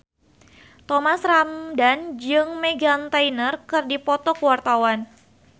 Thomas Ramdhan jeung Meghan Trainor keur dipoto ku wartawan